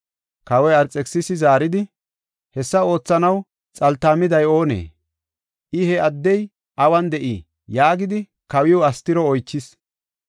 Kawoy Arxekisisi zaaridi, “Hessa oothanaw xaltaamiday oonee? I he addey awun de7ii?” yaagidi kawiw Astiro oychis.